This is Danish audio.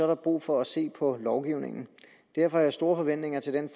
der brug for at se på lovgivningen derfor har jeg store forventninger til den